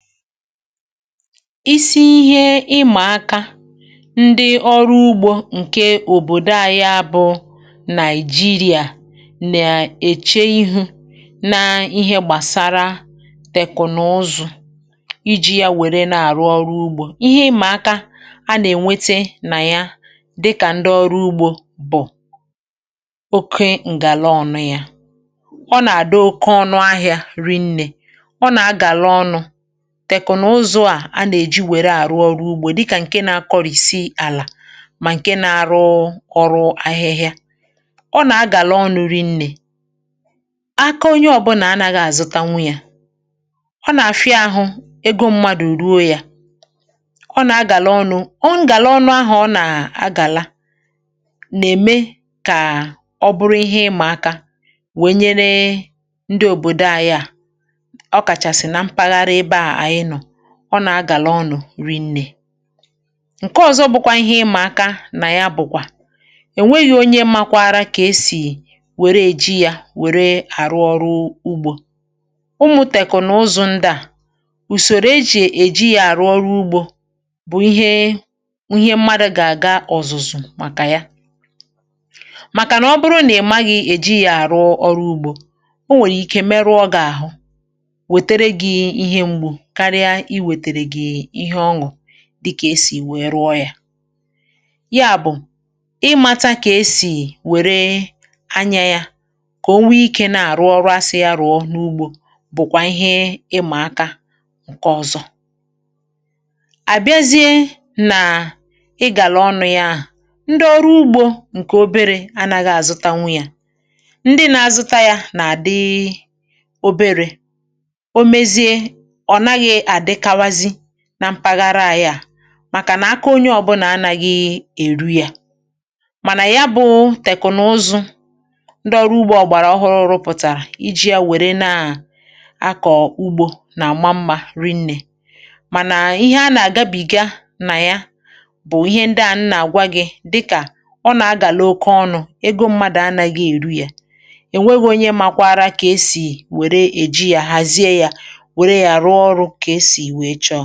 Ìsì ìhè ịmà aka ndị ọrụ ugbȯ ǹkè òbòdo à, ya bụ̇ Nàị̀jìrìà, nà èche ìhè nà ihe gbàsara tẹkụ̀nụ̀zụ̀, iji̇ ya wère nà-àrụ ọrụ ugbȯ. Ìhè ịmà aka a nà-ènwete nà ya, dịkà ndị ọrụ ugbȯ, bụ̀ oke ǹgàla ọ̀nụ̇; ya bụ̇, ọ nà-àdị oke ọnụ̇. Ahịȧ rinnė ọ nà-agàla ọ̀nụ̀; tẹkụ̀nụ̀zụ̀ a a nà-èji wère àrụ ọrụ ugbȯ, dịkà ǹkè na-akọrìsi àlà mà ǹkè na-arụ ọrụ ahịhịa, ọ nà-agàla ọnụ̇ rinnė. Aka onye ọ̀bụlà a nà-agà àzụtanwu yȧ, ọ nà-àfịa àhụ egȯ mmadụ̀ ruo yȧ, ọ nà-agàla ọnụ̇. Ọ ngàla ọnụ̇ ahụ̀, ọ nà-agàla nà-ème kà ọ bụrụ ìhè ịmȧ aka, wee nyere ndị òbòdo a. Ya bụ̇, ọ nà-agàla ọnụ̇ rinnė. Ǹkè ọ̀zọ̇ bụ̀kwà ìhè ịmȧ aka nà ya, bụ̀kwà è nweghi̇ onye makwa àrà kà esì wère èji yȧ wère àrụ ọrụ ugbȯ. Ụmụ̀ tẹkụ̀nàụzọ̀ ndịà, ùsòrò ejì èji yȧ àrụ ọrụ ugbȯ, bụ̀ ihe mmadụ̇ gà-àga ọ̀zụ̀zụ̀ màkà ya. um Màkà nà ọ bụrụ nà ị maghị̇ èji yȧ àrụ ọrụ ugbȯ, o nwèrè ike meruo gà-àhụ, dịkà esì wèe rụọ yȧ, ya bụ̀ ịmȧta kà esì wère anyȧ yȧ, kà o nwee ikė na-àrụ ọrụȧ sị̀ arụ̀ọ n’ugbȯ. Bụ̀kwà ìhè ịmȧ aka ǹkè ọ̀zọ̇ à bịazie nà ị gàlà ọnụ̇ ya ahụ̀, ndị ọrụ ugbȯ ǹkè oberė anaghị àzụtanwu yȧ. Ndị na-azụta yȧ nà-àdịi oberė nà mpaghara ahịa à, màkà nà aka onye ọ̀bụlà anȧghị̇ èru yȧ. Mànà ya bụ̇ tẹkụ̀nụ̀zụ̀ ndị ọrụ ugbȯ ọ̀gbàrà ọhụrụ, ụrụ̇ pụ̀tàrà iji̇ yȧ wère na-ahà a kọ̀ọ ugbȯ nà-àma mmȧ rinnė. Mànà ìhè a nà-àgabìga nà ya bụ̇ ihe ndịà a nà-àgwa gị̇, um dịkà ọ nà-agàlo oke ọnụ̇; ego mmadụ̀ anàghị̇ èru yȧ; èwegȯnye makwa àrà kà esì wère èji yȧ, hàzie yȧ, ihe ọ̀zọ̇ à.